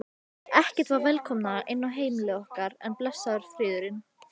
Ekkert var velkomnara inn á heimili okkar en blessaður friðurinn.